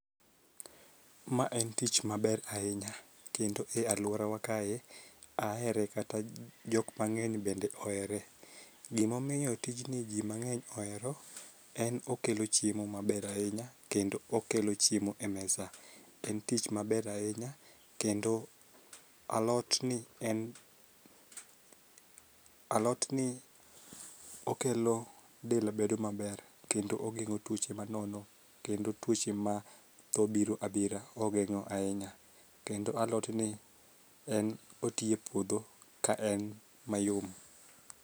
Ma en tich maber ahinya kendo e aluorawa kae ahere kata jok mang'eny bende ohere. Gimomiyo tijni jii mang'eny ohero, en okelo chiemo maber ahinya kendo okelo chiemo e mesa en tich maber ahinya. Kendo alot ni en alot ni okelo del bedo maber kendo ogeng'o tuoche manono kendo tuoche ma tho biro abira ogeng'o ahinya kendo alot ni en oti e puodho ka en mayom.